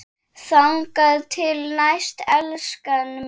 Þangað til næst, elskan mín.